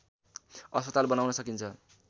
अस्पताल बनाउन सकिन्छ